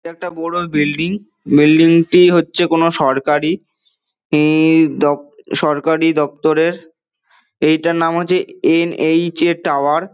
ইটা একটা বড়ো building building -টি হচ্ছে কোনো সরকারি এ দও সরকারি দফতরের । এটার নাম হচ্ছে এন .এইচ .এ টাওয়ার ।